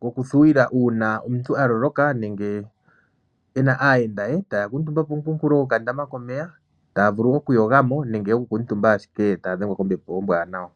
gokuthuwila uuna omuntu avulwa nenge ena aayenda ye, taya kutumba pooha dho kandama komeya taya vule okuyogamo nenge ya okukutumba ashike taya dhengwa kombepo ombwanawa.